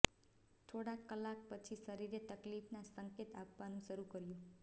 થોડાક કલાક પછી શરીરે તકલીફના સંકેત આપવાનું શરૂ કર્યું